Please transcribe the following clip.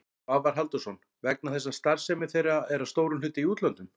Svavar Halldórsson: Vegna þess að starfsemi þeirra er að stórum hluta í útlöndum?